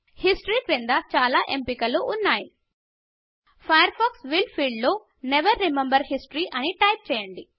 history క్రింద చాల ఎంపికలు ఉన్నాయి ఫైర్ఫాక్స్ విల్ ఫీల్డ్లో నెవెర్ రిమెంబర్ హిస్టరీ అని ఎంచుకోండి